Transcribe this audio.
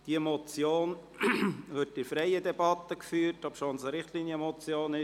Diese Motion wird in freier Debatte beraten, obwohl es sich um eine Richtlinienmotion handelt.